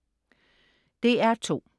DR2: